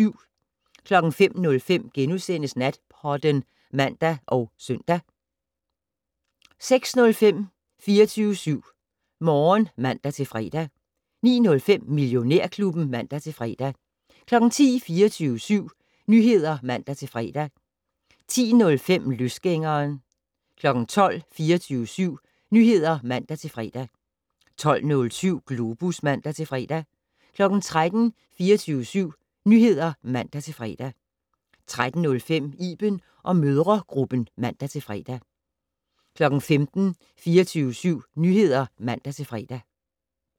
05:05: Natpodden *(man og søn) 06:05: 24syv Morgen (man-fre) 09:05: Millionærklubben (man-fre) 10:00: 24syv Nyheder (man-fre) 10:05: Løsgængeren 12:00: 24syv Nyheder (man-fre) 12:07: Globus (man-fre) 13:00: 24syv Nyheder (man-fre) 13:05: Iben & mødregruppen (man-fre) 15:00: 24syv Nyheder (man-fre)